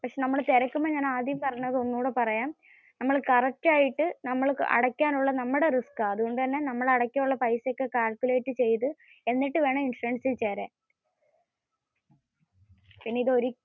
നമ്മൾ തിരക്കുമ്പോ ഞാൻ ആദ്യം പറഞ്ഞത് ഒന്നുംകൂടി പറയാം. നമ്മൾ correct ആയിട്ട് അടയ്ക്കുക എന്നത് നമ്മുടെ risk ആണ്. അതുകൊണ്ടുതന്നെ നമ്മൾ അടയ്ക്കാൻ ഉള്ള പൈസ ഒക്കെ calculate ചെയ്തത്, എന്നിട്ടു വേണം ഇൻഷുറൻസിൽ ചേരാൻ.